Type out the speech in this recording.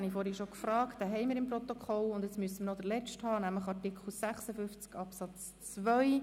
Nun kommen wir zum Schluss noch zu Artikel 56 Absatz 2.